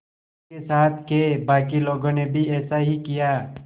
उसके साथ के बाकी लोगों ने भी ऐसा ही किया